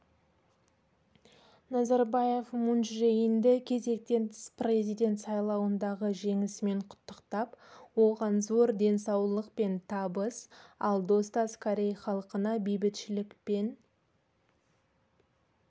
назарбаев мун чже инді кезектен тыс президент сайлауындағы жеңісімен құттықтап оған зор денсаулық пен табыс ал достас корей халқына бейбітшілік пен